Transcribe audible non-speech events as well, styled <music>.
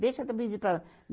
Deixa <unintelligible> para lá.